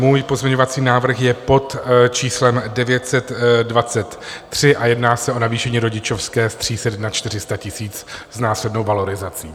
Můj pozměňovací návrh je pod číslem 923 a jedná se o navýšení rodičovské z 300 na 400 tisíc s následnou valorizací.